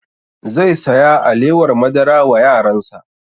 Zai saya alewar madara wa yaran sa